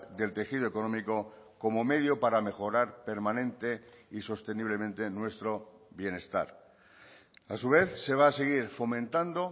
del tejido económico como medio para mejorar permanente y sosteniblemente nuestro bienestar a su vez se va a seguir fomentando